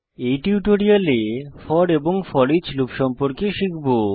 এই টিউটোরিয়ালে ফোর এবং ফোরিচ লুপ সম্পর্কে শিখব